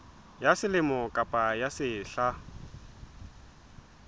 ya selemo kapa ya sehla